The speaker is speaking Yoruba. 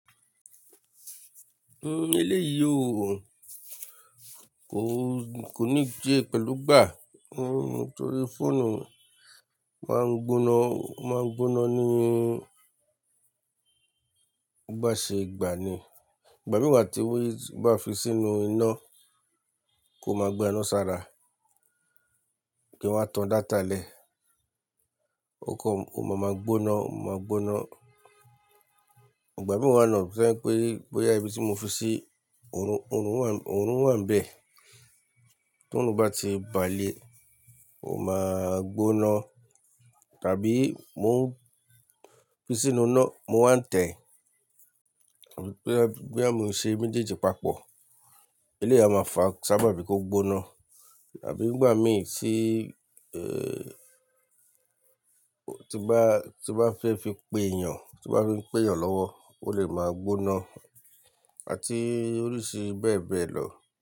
Hmm eléyìí o, ko, ko ní se pẹ̀lú gbà, nnu torí fóònù máa ń gbóná, máa ń gbóná níí, gbà ṣe ìgbà ni. Ìgbà mìí wa tí owó yìí bá fi sínú iná, kò máa gba iná sára, kí n wa tan data lẹ̀. O kan, o ma máa gbóná, o ma máa gbóná. Ìgbà mìí wa nàa to je pé, boyà ibí tí mo fi sí, òórùn, òórùn wà, òórùn wà nbẹ̀, tí òórùn bá ti bàle, ó máa gbóná. Tàbí mó ń fi sínú iná, mo wà ń tẹ̀, tàbí pé boya mo ń ṣe mejeeji papọ̀, eléyìí a máa fa sábàbí i kó gbóná. Tàbí nígbà mìí tí, tí n bá, tí n bá ń fẹ́ fi pe èèyàn, tí bá ń fi n pe èèyàn lọ́wọ́, ó lè máa gbóná, àti oríṣi bẹ́ẹ̀ bẹ́ẹ̀ lọ.